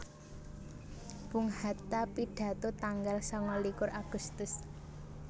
Bung Hatta pidato tanggal sangalikur Agustus